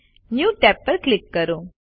new tab પર click કરો